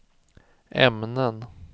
ämnen